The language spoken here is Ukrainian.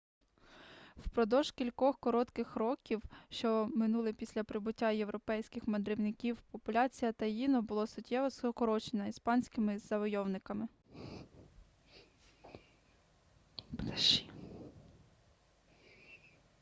впродовж кількох коротких років що минули після прибуття європейських мандрівників популяція таїно була суттєво скорочена іспанськими завойовниками